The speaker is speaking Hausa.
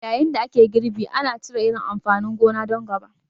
Yayin da ake girbi, ana cire irin amfanin gona don gaba.